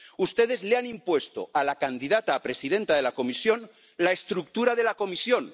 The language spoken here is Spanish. Ustedes le han impuesto a la candidata a presidenta de la Comisión la estructura de la Comisión.